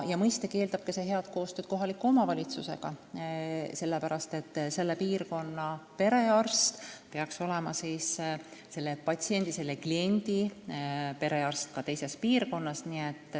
Mõistagi eeldab see ka head koostööd kohaliku omavalitsusega, sellepärast et selle piirkonna perearst peaks olema selle patsiendi, kliendi perearst ka teises piirkonnas.